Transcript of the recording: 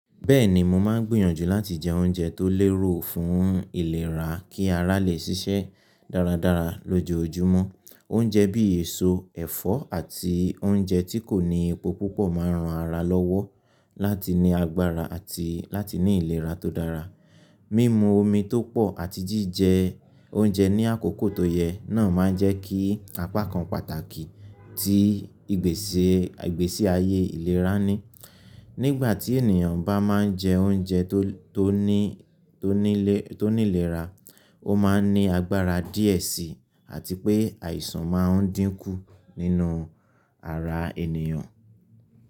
Bẹ́ẹ̀ni, mo máa ń gbìyànjú láti jẹ oúnjẹ tó lérò fún ìlera kí ara lè ṣiṣẹ́ dáradára lójoojúmọ́. Oúnjẹ bí èso, ẹ̀fọ́ àti oúnjẹ tí kò ní epo púpọ̀ máa ń ran ara lọ́wọ́ láti ní agbára àti láti ní ìlera tó dára. Mímu omi tó pọ̀ àti jíjẹ oúnjẹ ní àkókò tó yẹ náà máa ń jẹ́ kí apá kan pàtàkì tí ìgbésí ayé ìlera ni. Nígbà tí ènìyàn bá máa ń jẹ oúnjẹ tó ní ìlera, ó máa ń ní agbára díẹ̀ síi àti pé àìsàn máa ń dínkú nínú ara ènìyàn.